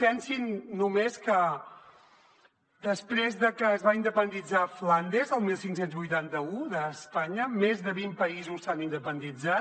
pensin només que després de que es va independitzar flandes el quinze vuitanta u d’espanya més de vint països s’han independitzat